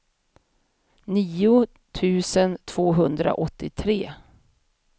nio tusen tvåhundraåttiotre